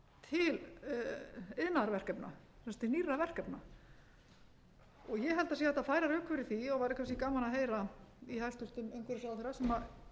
til iðnaðarverkefna sem sagt til nýrra verkefna ég held að sé hægt að færa rök fyrir því og væri kannski gaman að heyra í hæstvirtur umhverfisráðherra sem